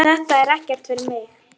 Þetta er ekkert fyrir mig.